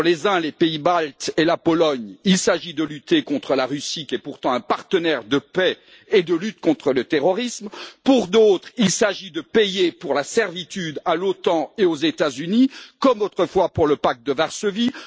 Pour les uns les pays baltes et la Pologne il s'agit de lutter contre la Russie, qui est pourtant un partenaire pour la paix et la lutte contre le terrorisme. Pour d'autres, il s'agit de payer pour la servitude à l'OTAN et aux États Unis, comme autrefois pour le Pacte de Varsovie.